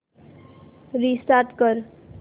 restart कर